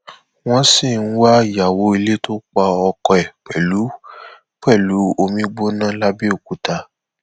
wọn sì ń wá ìyàwó ilé tó pa ọkọ ẹ pẹlú pẹlú omi gbígbóná lápbẹọkúta